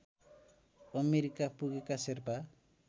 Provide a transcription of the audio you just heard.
America पुगेका शेर्पा